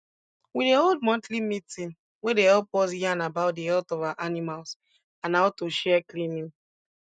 we dey hold monthly meeting wey dey help us yarn about di health of our animals and how to share cleaning